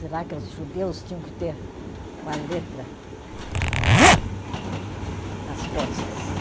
Será que os judeus tinham que ter uma letra nas costas?